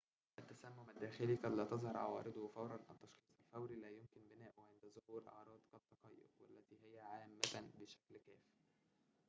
التسمم الداخلي قد لا تظهر عوارضه فوراً التشخيص الفوري لا يمكن بناؤه عند ظهور أعراض كالتقيؤ والتي هي عامة بشكل كافٍ